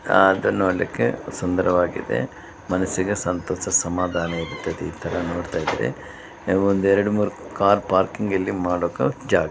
ಅದನ್ನು ನೋಡ್ಲಿಕ್ಕೆ ಸುಂದರವಾಗಿದೆ ಮನಸ್ಸಿಗೆ ಸಂತೋಷ ಸಮಾಧಾನ ಇರುತ್ತದೆ ಈತರ ನೋಡ್ತಾ ಇದ್ರೆ ಒಂದೆರಡು ಮೂರು ಕಾರ್ ಪಾರ್ಕಿಂಗ್ ಇಲ್ಲಿ ಮಾಡೋದಿಕ್ಕೆ ಜಾಗ ಇದೆ.